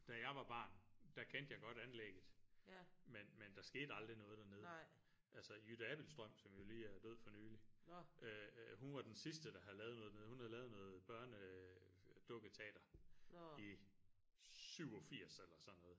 Da jeg var barn kendte jeg godt anlægget men men der skete aldrig noget dernede altså Jytte Abildstrøm som jo lige er død for nylig hun var den sidste der havde lavet noget dernede hun havde lavet noget børne øh dukketater i 87 eller sådan noget